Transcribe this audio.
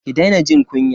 Ki daina jin kunya.